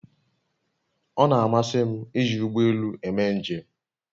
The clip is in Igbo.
O na-amasị m iji ụgbọ elù eme njem